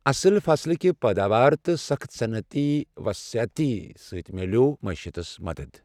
اصٕل فصلٕکہ پٲداوارٕ تہٕ سخٕت صنعتی وصعت سۭتۍ تہِ میلیٛوو معاشیاتس مَدتھ ۔